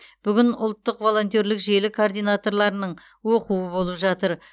бүгін ұлттық волонтерлік желі координаторларының оқуы болып жатыр